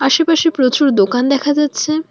আশেপাশে প্রচুর দোকান দেখা যাচ্ছে।